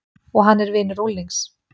Og hann er vinur unglings.